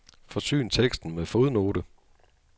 Forsyn teksten med fodnote.